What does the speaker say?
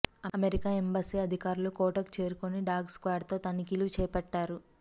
America embassy అధికారులు కోటకు చేరుకుని డాగ్ స్క్వాడ్తో తనిఖీలు చేపట్టారు